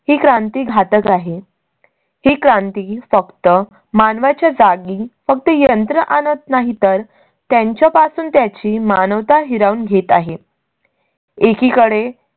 ही क्रांती घातक आहे. ही क्रांती फकत मानवाच्या जागी फक्त यंत्र आणत नाही तर त्यांच्या पासून त्याची मानवता हिरवून घेत आहे. एकीकडे